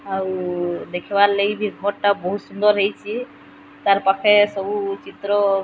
ଆଉ ଦେଖିବାର ଲାଗି ସେଘର୍ ଟା ବହୁତ୍ ସୁନ୍ଦର ହେଇଚି ତାର ପାଖେ ସବୁ ଚିତ୍ର --